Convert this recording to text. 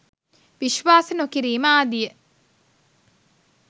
විශ්වාස නොකිරීම ආදිය